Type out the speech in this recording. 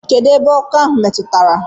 Kedụ ebe ọkọ ahụ metụtara.